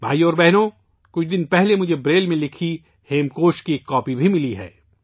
بھائیو اور بہنو، کچھ دن پہلے مجھے بریل میں لکھی ہیمکوش کی ایک کاپی بھی ملی ہے